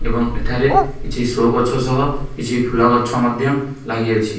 ଏବଂ ଏଠାରେ କିଛି ଶୋ ଗଛ ସହ କିଛି ଫୁଲ ଗଛ ମଧ୍ୟ ଲାଗିଅଛି।